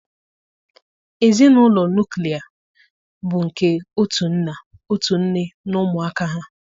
Ezinụlọ nuklia bụ nke otu nna, otu nne na ụmụaka ha